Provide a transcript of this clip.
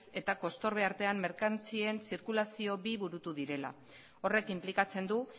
eta kostorbe artean merkantzien zirkulazio bi burutu direla horrek inplikatzen du